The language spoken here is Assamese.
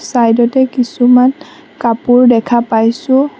ছাইড তে কিছুমান কাপোৰ দেখা পাইছোঁ।